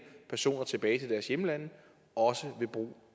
personer tilbage til deres hjemlande også ved brug